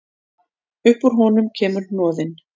Upp úr honum kemur hnoðinn.